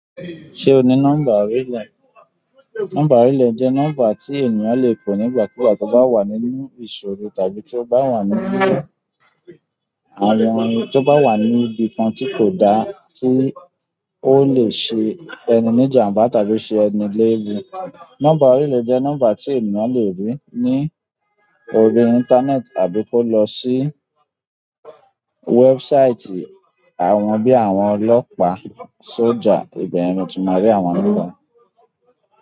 Ṣé o ní nọ́mbà orílẹ̀? Nọ́mbà orílẹ̀ jẹ́ nọ́mbà tí ènìyàn lè kó nígbàkúùgbà tó bá wà nínú ìṣòro tàbí tó bá wà níbí àwọn tó bá wà ní ibi kan tí kò da tí ó lè ṣe ẹni ní ìjàmbá tàbí ṣe ẹni léwu. Nọ́mbà orílẹ̀ jẹ́ nọ́mbà tí ènìyàn lè ri ní orí íńtánẹ́ẹ̀tì àbí kó lọ sí website àwọn bí i àwọn ọlọ́pàá, sójà, ìbẹ̀yen ni o ti máa rí àwọn nọ́mbà.